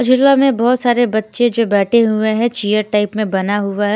जिला में बहुत सारे बच्चे जो बैठे हुए हैं चियर टाइप में बना हुआ है।